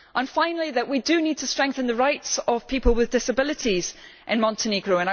Finally, we do need to strengthen the rights of people with disabilities in Montenegro.